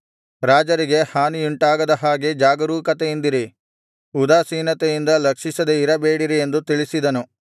ರಾಜರಿಗೆ ಹಾನಿಯುಂಟಾಗದ ಹಾಗೆ ಜಾಗರೂಕತೆಯಿಂದಿರಿ ಉದಾಸೀನತೆಯಿಂದ ಲಕ್ಷಿಸದೆ ಇರಬೇಡಿ ಎಂದು ತಿಳಿಸಿದನು